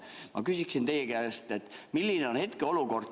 Ma küsiksin teie käest, milline on hetkeolukord.